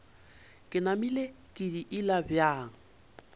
ke namile ke diila bjang